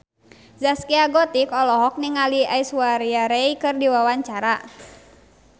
Zaskia Gotik olohok ningali Aishwarya Rai keur diwawancara